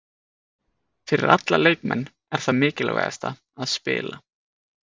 Fyrir alla leikmenn er það mikilvægasta að spila